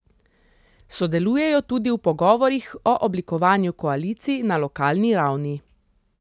Sodelujejo tudi v pogovorih o oblikovanju koalicij na lokalni ravni.